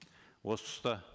осы тұста